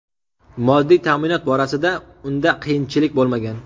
Moddiy ta’minot borasida unda qiyinchilik bo‘lmagan.